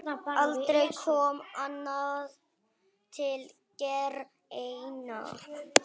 Aldrei kom annað til greina.